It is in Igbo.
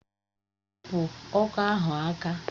Hapụ ọkọ ahụ aka!